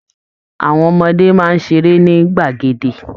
Àwọn ọmọdé máa ń ṣeré ní gbàgede